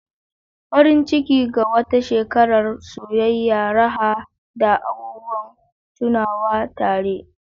Farin Ciki! Ga wata shekarar soyayya, raha, da abubuwan tunawa tare.